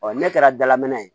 ne kɛra dalamɛnɛn ye